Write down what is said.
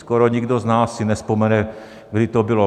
Skoro nikdo z nás si nevzpomene, kdy to bylo.